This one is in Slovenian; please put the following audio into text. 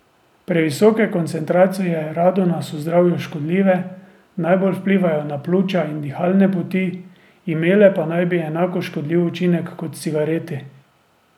Previsoke koncentracije radona so zdravju škodljive, najbolj vplivajo na pljuča in dihalne poti, imele pa naj bi enako škodljiv učinek kot cigareti.